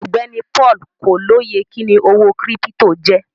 Ọgbẹni Paul kò lóyè kíni owó kírípítò jẹ.